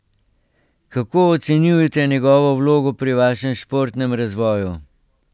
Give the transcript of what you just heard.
Kako ocenjujete njegovo vlogo pri vašem športnem razvoju?